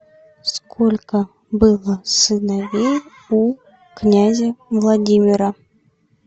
сколько было сыновей у князя владимира